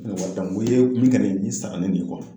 n kun ye wai d'a ma n ko min sera ka nin min n kɔrɔ